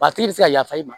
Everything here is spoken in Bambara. A tigi bɛ se ka yafa i ma